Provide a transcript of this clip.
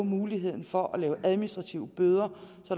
muligheden for at give administrative bøder